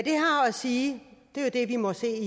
sige er jo det vi må se